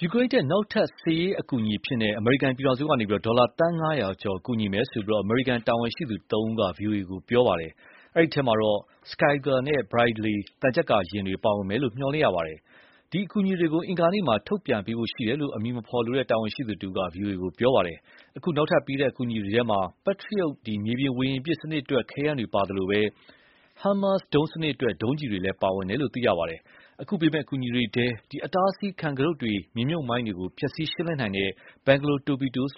ယူကရိန်းအတွက် နောက်ထပ်စစ်ရေးအထောက်အပံ့အဖြစ် အမေရိကန်ပြည်ထောင်စုက ဒေါ်လာ သန်း ၅၀၀ ကျော် ကူညီသွားမယ်လို့ အမေရိကန်တာဝန်ရှိသူသုံးဦးက ဗွီအိုအေကိုပြောပါတယ်။ အဲဒီအထဲမှာတော့ Stryker နဲ့ Bradley သံချပ်ကာယာဉ်တွေ ပါ ပါဝင်မယ်လို့ မျှော်လင့်ရပါတယ်။ ဒီ အကူအညီတွေကို အင်္ဂါနေ့မှာ ထုတ်ပြန်ပေးဖို့ရှိတယ်လို့ အမည်မဖော်လိုတဲ့ တာဝန်ရှိသူတဦးက ဗွီအိုအေကို ပြောပါတယ်။ အခု နောက်ထပ်ပေးတဲ့ အကူအညီထဲမှာ Patriot မြေပြင် ဝေဟင်ပစ် စနစ်အတွက် ခဲယမ်းတွေပါဝင်သလို၊ HIMARS ဒုံးစနစ်အတွက် ဒုံးကျည်တွေလည်း ပါဝင်တယ်လို့ ပြောပါတယ်။ အခုပေးမယ့် အကူအညီတွေထဲမှာ အတားအဆီးခံကတုတ်တွေ မြေမြှုပ်မိုင်းကို ဖျက်ဆီး ရှင်းလင်းနိုင်တဲ့ Bangalore Torpedoes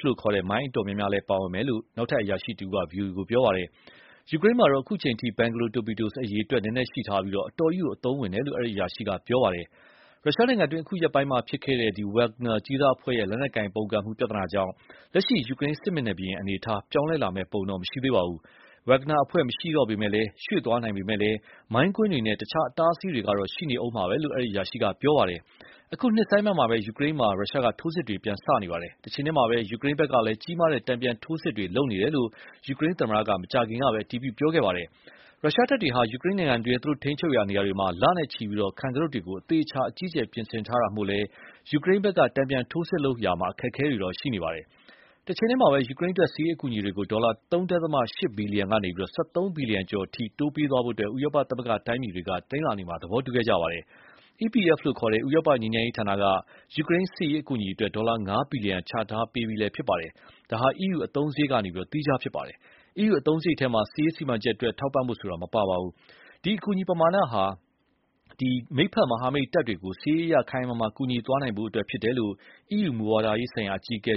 မိုင်း အတော်များများလည်း ပါဝင်မယ်လို့ နောက်ထပ်အရာရှိတဦးက ဗွီအိုအေကို ပြောပါတယ်။ ယူကရိန်းမှာတော့ အခုချိန်အထိ Bangalore torpedoes အရေအတွက် နည်းနည်းရှိထားပြီး အတော်ကြီး အသုံးဝင်တယ်လို့ အဲဒီအရာရှိက ပြောပါတယ်။ ရုရှားနိုင်ငံတွင်း အခု ရက်ပိုင်းအတွင်းဖြစ်ပွားတဲ့ Wagner ကြေးစားအဖွဲ့ရဲ့ လက်နက်ကိုင်ပုန်ကန်မှုပြဿနာကြောင့် လက်ရှိ ယူကရိန်းစစ်မျက်နှာပြင်အနေ အထား ပြောင်းလဲလာမယ့် ပုံတော့ မရှိသေးပါဘူး။ Wagner အဖွဲ့ မရှိတော့ပဲ ရွှေ့သွားနိုင်ပေမယ့်၊ မိုင်းကွင်းတွေနဲ့ အခြားအတားအဆီးတွေကတော့ ရှိနေဦးမှာပဲလို့ အဲဒီအရာရှိက ပြောပါတယ်။ အခုနှစ်ဆန်းပိုင်းမှာပဲ ယူကရိန်းမှာ ရုရှားက ထိုးစစ်တွေ ပြန်စလာပါတယ်။ တချိန်တည်းမှာပဲ ယူကရိန်းဖက်ကလည်း ကြီးမားတဲ့တ်နပြန်ထိုးစစ်တွေ လုပ်နေတယ်လို့ ယူကရိန်းသမ္မတကလည်း မကြာခင်ကပဲ အတည်ပြုပြောဆိုပါတယ်။ ရုရှားတပ်တွေဟာ ယူကရိန်းနိုင်ငံတွင်း သူတို့ထိန်းချူပ်ရာနေရာတွေမှ လနဲ့ချီပြီး ခံကတုတ်တွေ အသေအချာ အကြီးအကျယ်ပြင်ဆင်ထား တာမို့လည်း ယူကရိန်းဖက်က တန်ပြန်ထိုးစစ်လုပ်ဖို့ အခက်အခဲတွေရှိနေပါတယ်။ တချိန်တည်းမှာပဲ ယူကရိန်းအတွက် စစ်ရေးအကူအညီတွေကို ဒေါ်လာ ၃.၈ ဘီလီယံကနေ ၁၃ ဘီလီယံကျော်အထိ တိုးပေးသွားဖို့ ဥရောပသမဂ္ဂတိုင်းပြည်တွေက တနင်္လာနေ့မှာ သဘောတူခဲ့ကြပါတယ်။ EPF လို့ခေါ်တဲ့ ဥရောပငြိမ်းချမ်းရေးဌာနက ယူကရိန်းစစ်ရေးအကူအညီအတွက် ဒေါ်လာ ၅ဘီလီယံ ချထားပေးပြီးဖြစ်ပါတယ်။ ဒါဟာ EU အသုံးစရိတ်ကနေ သီးခြားဖြစ်ပါတယ်။ EU အသုံးစရိတ်ထဲမှာ စစ်ရေးစီမံချက်အတွက် ထောက်ပံဖို့ မပါဝင်ပါဘူး။ ဒီအကူအညီပမာဏဟာ ကျနော်တို့မိတ်ဖက်မဟာမိတ်တပ်တွေရကို စစ်ရေးအအရ ခိုင်ခိုင်မာမာကူညီသွားနိုင်ဖို့အတွက် ဖြစ်တယ်လို့ EU မူဝါဒဆိုင်ရာအကြီးအကဲ